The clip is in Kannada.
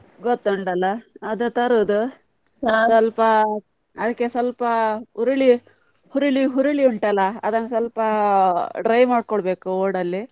ಗೊತ್ತುಂಟಲ್ಲ ಅದು ತರುದು, ಅದಕ್ಕೆ ಸ್ವಲ್ಪ ಹುರುಳಿ, ಹುರುಳಿ ಹುರುಳಿ ಉಂಟಲ್ಲ ಅದನ್ನು ಸ್ವಲ್ಪ dry ಮಾಡ್ಬೇಕೊಳ್ಬೇಕು ಓಡ್ ಅಲ್ಲಿ.